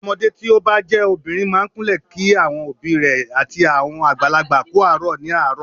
Ọmọdé tí o bá jẹ́ obìnrin máa ń kúnlẹ̀ kí àwọn òbí rẹ̀ àti àwọn àgbàlagbà kú àárọ̀ ní àárọ̀.